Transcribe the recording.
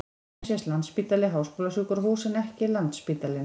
Hér sést Landspítali- háskólasjúkrahús en ekki Landsspítalinn.